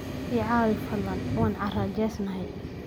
I caawi fadlan, waan carajeysnahay.